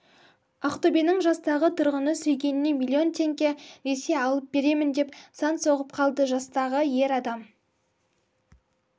ақтөбенің жастағы тұрғыны сүйгеніне миллион теңге несие алып беремін деп сан соғып қалды жастағы ер адам